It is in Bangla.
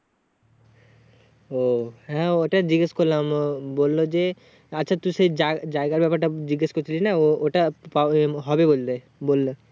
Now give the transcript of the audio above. ও হ্যাঁ ওটা জিজ্ঞাস করলাম মও বললো যে আচ্ছা তুই সেই জাই~জায়গার ব্যাপার টা জিজ্ঞাস করছিলিস না ও~ওটা পাবন হবে বল্লে বললে